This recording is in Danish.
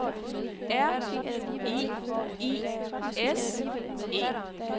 R I I S E